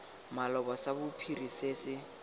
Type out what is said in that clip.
maloba sa bophiri se se